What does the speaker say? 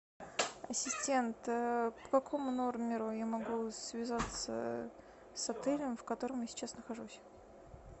ассистент по какому номеру я могу связаться с отелем в котором я сейчас нахожусь